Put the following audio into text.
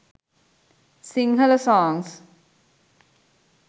singhala songs